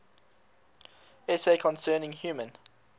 essay concerning human